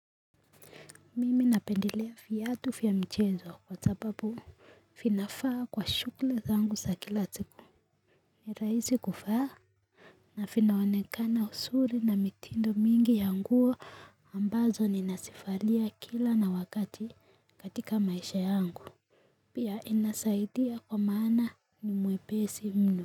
Mimi napendelea viatu vya michezo kwa sababu vinafaa kwa shughuli zangu za kila siku. Ni rahisi kuvaa. Na vinaonekana uzuri na mitindo mingi ya nguo ambazo ninazivalia kila na wakati katika maisha yangu. Pia inasaidia kwa maana ni mwepesi mno.